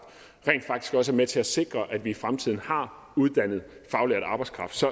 rent faktisk også er med til at sikre at vi i fremtiden har uddannet faglært arbejdskraft så